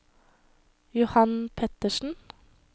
Johan Pettersen